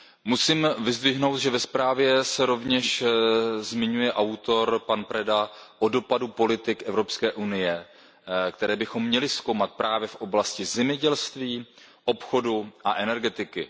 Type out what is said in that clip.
Musím vyzdvihnout, že ve zprávě se rovněž zmiňuje autor, pan Preda, o dopadu politik Evropské unie, které bychom měli zkoumat právě v oblasti zemědělství, obchodu a energetiky.